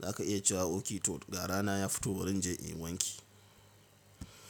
za ka iya cewa okay to ga rana ya fito barin je inyi wanki.